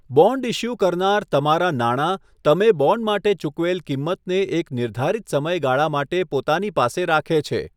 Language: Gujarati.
બોન્ડ ઇશ્યૂ કરનાર તમારા નાણાં, તમે બોન્ડ માટે ચૂકવેલ કિંમતને એક નિર્ધારિત સમયગાળા માટે પોતાની પાસે રાખે છે.